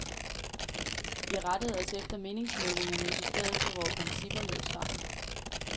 Vi rettede os efter meningsmålingerne i stedet for vore principper, lød svaret.